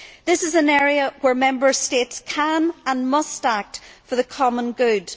This is an area where Member States can, and must, act for the common good.